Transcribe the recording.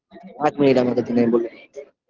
এক minute আমি আপনাকে চিনে বলে দিচ্ছি